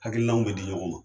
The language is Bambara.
Hakilinaw bɛ di ɲɔgɔn ma